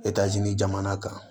jamana kan